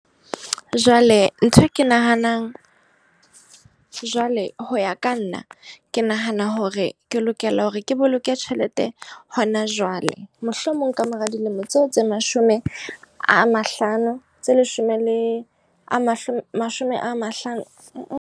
Jwale nthwe ke nahanang, jwale ho ya ka nna ke nahana hore ke lokela hore ke boloke tjhelete hona jwale. Mohlomong kamora dilemo tseo tse mashome a mahlano tse leshome le a mashome, mashome a mahlano.